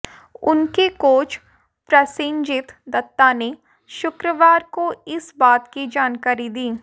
उनके कोच प्रसेनजीत दत्ता ने शुक्रवार को इस बात की जानकारी दी